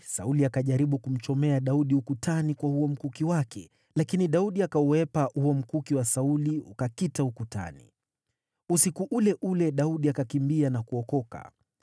Sauli akajaribu kumchomea Daudi ukutani kwa huo mkuki wake, lakini Daudi akauhepa huo mkuki wa Sauli ukakita ukutani. Usiku ule ule Daudi akakimbia na kuokoka.